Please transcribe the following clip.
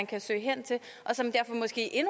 kan søge hen til og som derfor måske